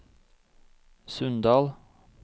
Sunndal